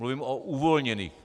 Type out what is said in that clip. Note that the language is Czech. Mluvím o uvolněných.